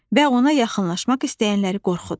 Və ona yaxınlaşmaq istəyənləri qorxudur.